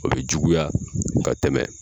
O bɛ juguya ka tɛmɛ